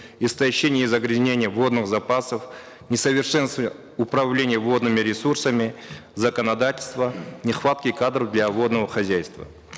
истощение и загрязнение водных запасов несовершенстве управления водными ресурсами законодательства нехватки кадров для водного хозяйства